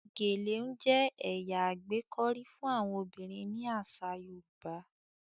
gèlè n jẹ ẹya agbekọri fún àwọn obìrin ní asa yoruba.